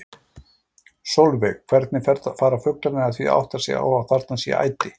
Sólveig: Hvernig fara fuglarnir að því að átta sig á að þarna sé æti?